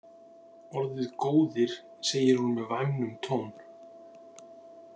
Orðið góðir segir hún með væmnum tón.